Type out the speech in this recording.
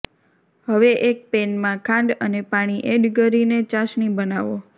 હવે એક પેનમાં ખાંડ અને પાણી એડ ગરીને ચાસણી બનાવો